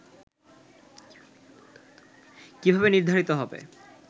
' কিভাবে নির্ধারিত হবে